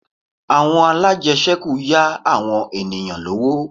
Àwọn alájẹṣẹ́kù yá àwọn ènìyàn lówó